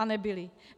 A nebyly.